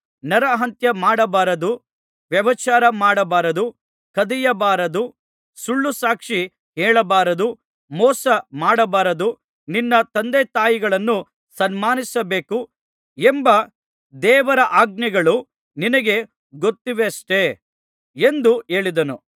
ನರಹತ್ಯಮಾಡಬಾರದು ವ್ಯಭಿಚಾರ ಮಾಡಬಾರದು ಕದಿಯಬಾರದು ಸುಳ್ಳುಸಾಕ್ಷಿ ಹೇಳಬಾರದು ಮೋಸಮಾಡಬಾರದು ನಿನ್ನ ತಂದೆತಾಯಿಗಳನ್ನು ಸನ್ಮಾನಿಸಬೇಕು ಎಂಬ ದೇವರಾಜ್ಞೆಗಳು ನಿನಗೆ ಗೊತ್ತಿವೆಯಷ್ಟೆ ಎಂದು ಹೇಳಿದನು